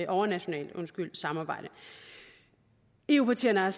overnationalt samarbejde eu partierne har